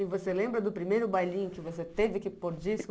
E você lembra do primeiro bailinho que você teve que pôr disco?